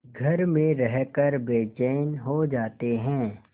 घर में रहकर बेचैन हो जाते हैं